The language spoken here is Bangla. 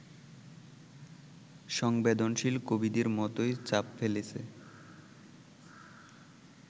সংবেদনশীল কবিদের মতোই ছাপ ফেলেছে